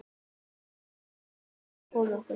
Við ættum að koma okkur.